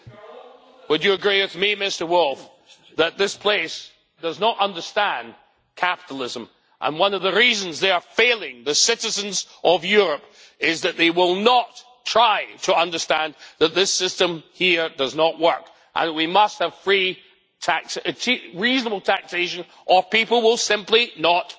Would you agree with me, Mr Woolfe, that this place does not understand capitalism, and that one of the reasons they are failing the citizens of Europe is that they will not try to understand that this system here does not work and that we must have reasonable taxation or people will simply not pay?